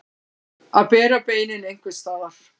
Að bera beinin einhvers staðar